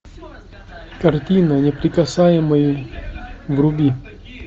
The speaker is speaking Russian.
картина неприкасаемые вруби